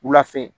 Wula fɛ